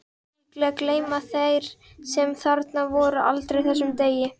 Líklega gleyma þeir sem þarna voru aldrei þessum degi.